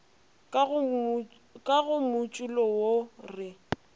ka go motšulo wo re